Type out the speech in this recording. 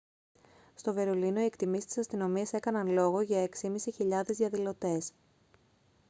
στο βερολίνο οι εκτιμήσεις της αστυνομίας έκαναν λόγο για 6.500 διαδηλωτές